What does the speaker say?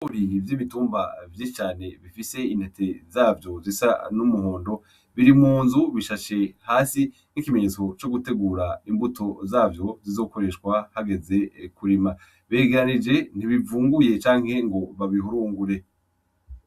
Ibigori vy'ibitumba vyinshi cane bifise intete zavyo zisa n'umuhondo, biri mu nzu bishashe hasi nk'ikimenyetso co gutegura imbuto zavyo zizokoreshwa hageze kurima, biregeranije ntibivunguye canke ngo babihurungure.